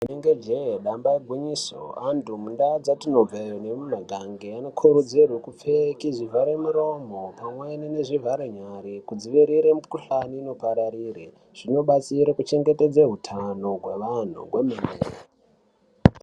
Inenge jee damba igwinyiso, antu mundaa dzatinobveyo nemumagange anokurudzirwe kupfeke zvivharemuromo pamweni zvivharenyare kudzivirira mikhuhlani inopararire. Zvinobatsire kuchengetedze hutano hwevanhu kwemene.